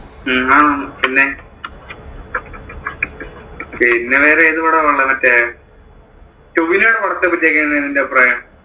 ആ പിന്നെ വേറെ ഏതു പടമാണ് ഉള്ളത്? മറ്റേ ടോവിനോയുടെ പടത്തെ പറ്റി ഒക്കെ എന്താ നിന്‍റെ അഭിപ്രായം?